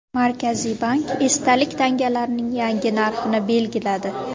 Markaziy bank esdalik tangalarning yangi narxini belgiladi.